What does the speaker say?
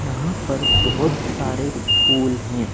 यहां पर बहुत सारे फूल हैं।